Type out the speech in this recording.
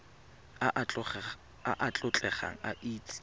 a a tlotlegang a itse